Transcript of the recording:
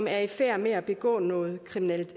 er i færd med at begå noget kriminelt